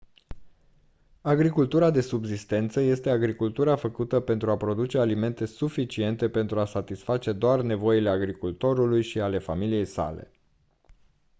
agricultura de subzistență este agricultura făcută pentru a produce alimente suficiente pentru a satisface doar nevoile agricultorului și ale familiei sale